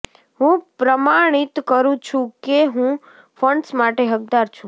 હું પ્રમાણિત કરું છું કે હું ફંડ્સ માટે હકદાર છું